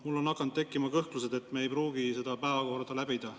Mul on hakanud tekkima kõhklused, et me ei pruugi seda päevakorda läbida …